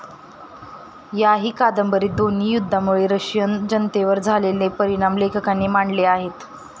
याही कादंबरीत दोन्ही युद्धांमुळे रशियन जनतेवर झालेले परिणाम लेखकांनी मांडले आहेत.